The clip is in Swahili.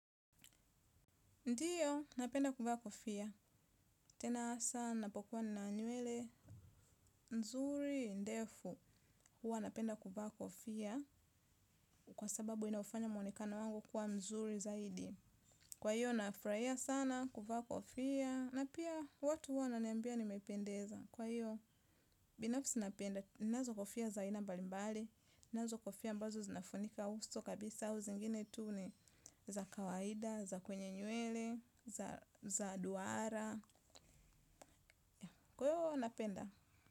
Ndiyo, napenda kuvaa kofia. Tena asaa napokuwa na nywele. Nzuri, ndefu, huwa napenda kuvaa kofia. Kwa sababu inaufanya mwonekano wangu kuwa mzuri zaidi. Kwa hiyo, nafuraia sana kuvaa kofia. Na pia, watu huwa wananiambia nimependeza. Kwa hiyo, binafsi napenda. Ninazo kofia za aina mbalimbali nazo kofia ambazo zinafunika uso kabisa au zingine tu ni za kawaida, za kwenye nywele za duara kwa hio napenda.